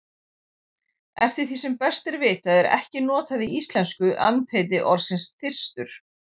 Eftir því sem best er vitað er ekki notað í íslensku andheiti orðsins þyrstur.